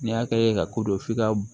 N'i y'a kɛ ka ko don f'i ka